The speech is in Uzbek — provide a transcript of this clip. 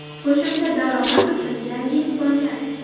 Qo‘shimcha daromad uchun yangi imkoniyat.